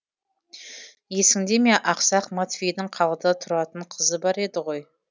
есіңде ме ақсақ матвейдің қалада тұратын қызы бар еді ғой